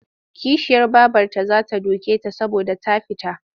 Kishiyar babarta za ta duke ta saboda ta fita.